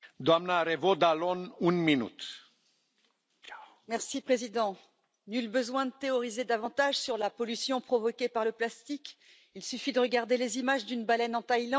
Monsieur le Président, nul besoin de théoriser davantage sur la pollution provoquée par le plastique, il suffit de regarder les images d'une baleine en Thaïlande, morte étouffée par des sachets de plastique.